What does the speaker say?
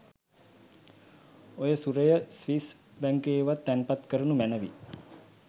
ඔය සුරය ස්විස් බැංකුවකවත් තැන්පත් කරනු මැනවි!